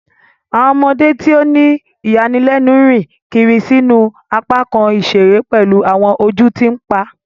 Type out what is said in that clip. Awọn ọmọde ti o ni iyanilenu rìn kiri sínú apakan iṣere pelu awọn ojú ti npa.